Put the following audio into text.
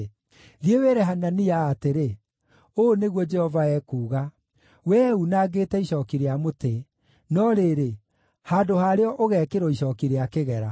“Thiĩ wĩre Hanania atĩrĩ, ‘Ũũ nĩguo Jehova ekuuga: Wee uunangĩte icooki rĩa mũtĩ, no rĩrĩ, handũ harĩo ũgeekĩrwo icooki rĩa kĩgera.